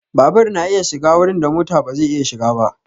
Babur na iya shiga wurin da mota ba zai iya shiga ba.